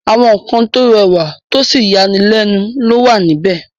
àwa nǹkan tó rẹwà tósì yanilẹ́nu ló wà níbẹ̀.